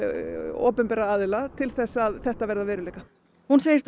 opinberra aðila til þess að þetta verði að veruleika hún segist